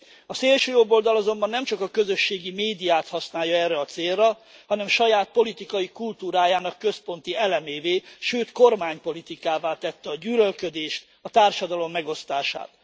A szélsőjobboldal azonban nem csak a közösségi médiát használja erre a célra, hanem saját politikai kultúrájának központi elemévé, sőt kormánypolitikává tette a gyűlölködést, a társadalom megosztását.